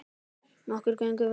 Nokkur þögn varð.